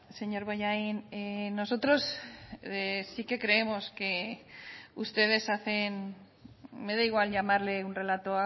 señor bollain nosotros sí que creemos que ustedes hacen me da igual llamarle un relato